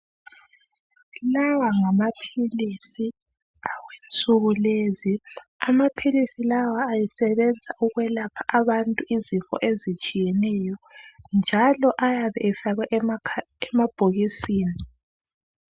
Lawa ngamaphilisis awensuku lezi, amaphilisi lawa asebenza ukwelapha abantu izifo ezitshiyeneyo njalo ayabe efakwe emakha emabhokisini